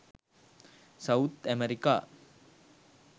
south america